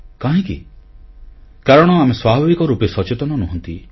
କାହିଁକି କାରଣ ଆମେ ସ୍ୱାଭାବିକ ରୂପେ ସଚେତନ ନୁହଁନ୍ତି